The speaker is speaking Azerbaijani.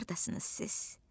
Hardasınız siz?